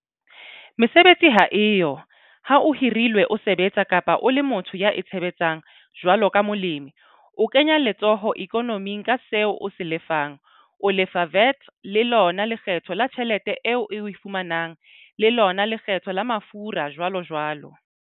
Mesebetsi ha e yo ha o hirilwe o sebetsa, kapa o le motho ya itshebetsang jwalo ka molemi, o kenya letsoho ikonoming ka seo o se lefang o lefa VAT, le lona lekgetho la tjhelete eo o e fumanang, le lona lekgetho la mafura, jwalojwalo.